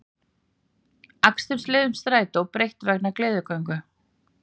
Akstursleiðum strætó breytt vegna gleðigöngu